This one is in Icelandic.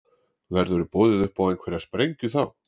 Verður boðið upp á einhverja sprengju þá?